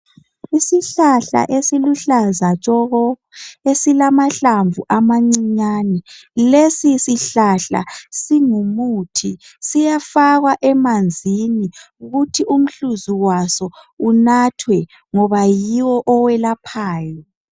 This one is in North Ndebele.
Isihlahla esiluhlaza tshoko esilamahlamvu amancinyane. Lesi sihlahla singumuthi siyafakwa emanzini kuthi umhluzi waso unathwe ngoba yiwo oyelaphayo.